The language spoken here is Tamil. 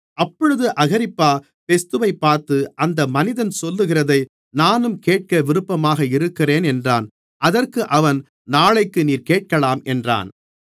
அப்பொழுது அகிரிப்பா பெஸ்துவைப் பார்த்து அந்த மனிதன் சொல்லுகிறதை நானும் கேட்க விருப்பமாக இருக்கிறேன் என்றான் அதற்கு அவன் நாளைக்கு நீர் கேட்கலாம் என்றான்